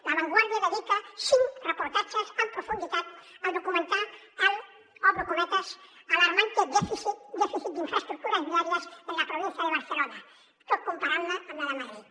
la vanguardia dedica cinc reportatges en profunditat a documentar el obro cometes alarmante déficit de infraestructuras viarias en la provincia de barcelona tot comparant la amb la de madrid